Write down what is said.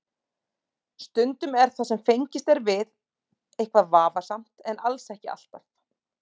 Stundum er það sem fengist er við eitthvað vafasamt en alls ekki alltaf.